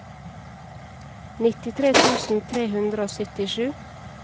nittitre tusen tre hundre og syttisju